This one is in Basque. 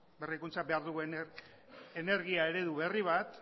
berrikuntza behar dugu energia eredu berri bat